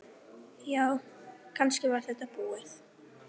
Já, kannski var þetta búið.